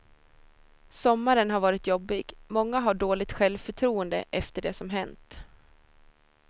Sommaren har varit jobbig, många har dåligt självförtroende efter det som hänt.